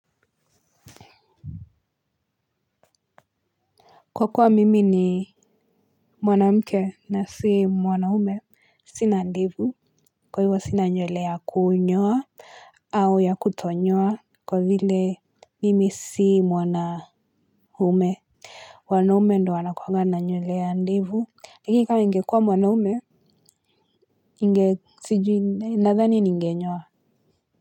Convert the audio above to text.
Kwa kuwa mimi ni mwanamke na si mwanaume kwa hivyo sina ndevu ya kunyoa. Au ya kutonyoa kwa vile mimi si mwanaume. Wanaume ndio wanakuanga na nywele ya ndevu, lakini kama ningekuwa mwanaume, nadhani ningenyoa.